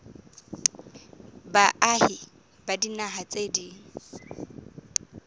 baahi ba dinaha tse ding